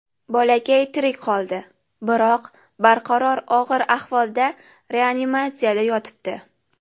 Bolakay tirik qoldi, biroq barqaror og‘ir ahvolda reanimatsiyada yotibdi.